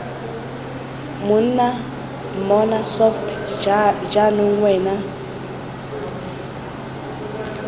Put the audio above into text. monna mmona soft jaanong wena